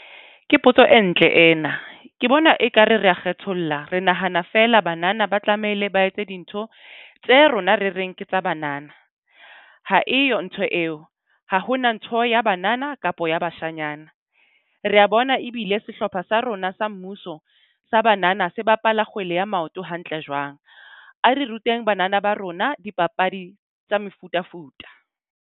Ke potso e ntle ena ke bona ekare re a kgetholla. Re nahana fela banana ba tlamehile ba etse dintho tse rona re reng ke tsa banana. Ha eyo ntho eo ha hona ntho ya banana kapo ya bashanyana. Re a bona ebile sehlopha sa rona sa mmuso sa banana se bapala ya maoto hantle jwang. A re ruteng banana ba rona dipapadi tsa mefutafuta.